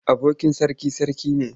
Abokin sarki sarki ne.